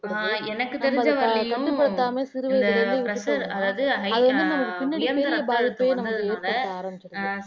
ஆஹ் எனக்கு தெரிஞ்சு வரையு இந்த pressure அதாவது high உயர் ரத்த அழுத்தம் ஏற்பட்றதுனால